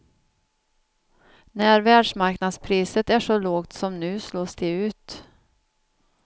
När världsmarknadspriset är så lågt som nu slås de ut.